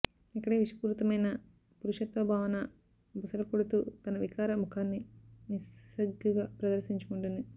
ఇక్కడే విషపూరితమైన పురుషత్వ భావన బుసలుకొడుతూ తన వికార ముఖాన్ని నిస్సిగ్గుగా ప్రదర్శించుకుంటుంది